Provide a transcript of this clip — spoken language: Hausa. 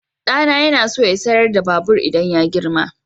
Ɗana yana so ya sayar da babur idan ya girma.